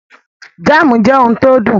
Jámùù jê ohun tó dùn.